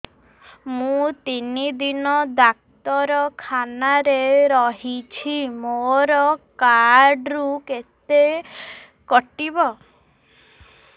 ମୁଁ ତିନି ଦିନ ଡାକ୍ତର ଖାନାରେ ରହିଛି ମୋର କାର୍ଡ ରୁ କେତେ କଟିବ